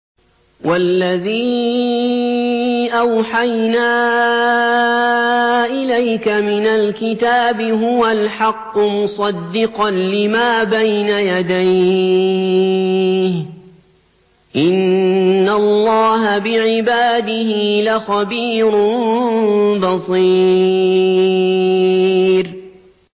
وَالَّذِي أَوْحَيْنَا إِلَيْكَ مِنَ الْكِتَابِ هُوَ الْحَقُّ مُصَدِّقًا لِّمَا بَيْنَ يَدَيْهِ ۗ إِنَّ اللَّهَ بِعِبَادِهِ لَخَبِيرٌ بَصِيرٌ